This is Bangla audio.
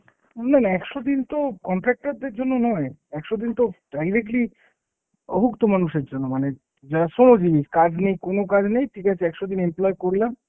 না না একশো দিন তো contractor দের জন্য নয়। একশো দিন তো directly অভুক্ত মানুষের জন্য, মানে যারা শ্রমজীবী, কাজ নেই, কোনো কাজ নেই, ঠিক আছে একশো দিন employee করলাম,